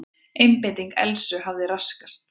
Einbeiting Elsu hafði raskast.